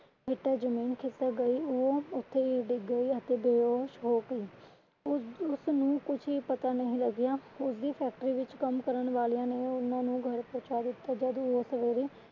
ਹੇਠਾਂ ਜਮੀਨ ਖਿਸਕ ਗਈ ਉਹ ਉੱਥੇ ਹੀ ਡਿੱਗ ਗਈ ਅਤੇ ਬੇਹੋਸ਼ ਹੋ ਗਈ। ਉਸਨੂੰ ਕੁਛ ਵੀ ਪਤਾ ਨਹੀਂ ਲਗਿਆ ਉਸਦੀ factory ਵਿੱਚ ਕੰਮ ਕਰਨ ਵਾਲਿਆਂ ਨੇ ਉਹਨਾਂ ਨੂੰ ਘਰ ਪਹੁੰਚਾ ਦਿੱਤਾ ਜਦ ਉਹ ਸਵੇਰੇ